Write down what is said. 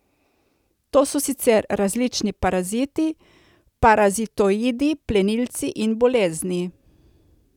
To so sicer različni paraziti, parazitoidi, plenilci in bolezni.